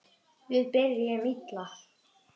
Við byrjuðum illa